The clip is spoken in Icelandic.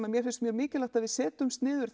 mér finnst mjög mikilvægt að við setjumst niður